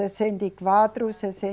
Sessenta e quatro,